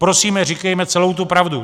Prosíme, říkejme celou tu pravdu!